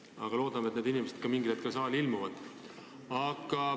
Aga ma loodan, et need inimesed mingil hetkel saali ilmuvad.